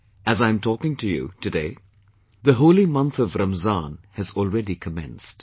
As I am talking to you today , the holy month of Ramzan has already commenced